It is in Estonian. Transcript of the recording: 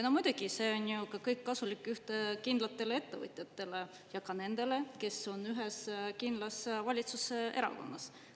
No muidugi, see on ju kõik kasulik kindlatele ettevõtjatele ja ka nendele, kes on ühes kindlas valitsuserakonnas.